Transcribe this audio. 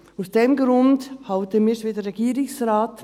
Aus diesem Grund halten wir es wie der Regierungsrat.